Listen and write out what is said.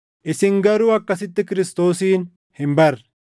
Isin garuu akkasitti Kiristoosin hin barre;